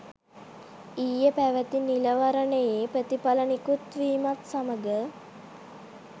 ඊයේ පැවති නිලවරණයේ ප්‍රතිඵල නිකුත් වීමත් සමඟ